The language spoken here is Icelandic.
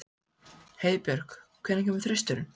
Heiðbjörk, hvenær kemur þristurinn?